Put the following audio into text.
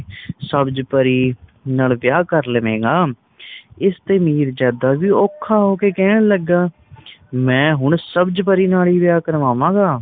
ਸਬਜ ਪਰੀ ਨਾਲ ਵਿਆਹ ਕਰ ਲਵੇਗਾ ਇਸਤੇ ਮੀਰਜਦਾ ਵੀ ਉਹਖਾ ਹੋ ਕਹਿਣ ਲੱਗਾ ਮੈ ਹੁਣ ਸਬਜ਼ ਪਰੀ ਨਾਲ ਵਿਆਹ ਕਰਵਾਵਾਂਗਾ